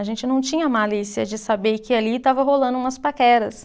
A gente não tinha malícia de saber que ali estava rolando umas paqueras.